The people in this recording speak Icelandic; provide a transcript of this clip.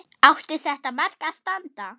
Átti þetta mark að standa?